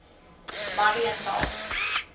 mariental